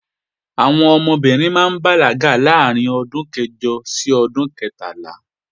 Àwọn ọmọbìnrin ó bàlágà láàárín ọdún kẹjọ àti ọdún kẹtàlá